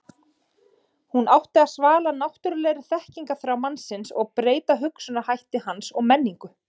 hún átti að svala náttúrulegri þekkingarþrá mannsins og breyta hugsunarhætti hans og menningu